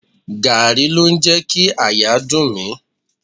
Gààrí ló ń jẹ kí àyà dùn mí.